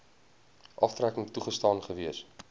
aftrekking toegestaan gewees